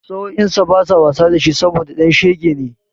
Sa'o'insa basa wasa da shi saboda ɗan shege ne.